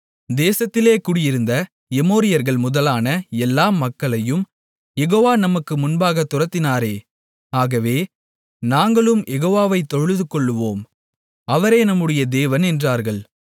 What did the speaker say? தேசத்திலே குடியிருந்த எமோரியர்கள் முதலான எல்லா மக்களையும் யெகோவா நமக்கு முன்பாகத் துரத்தினாரே ஆகவே நாங்களும் யெகோவாவைத் தொழுதுகொள்ளுவோம் அவரே நம்முடைய தேவன் என்றார்கள்